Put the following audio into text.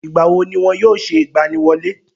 ìgbà wo ni wọn yóò ṣe ìgbaniwọlé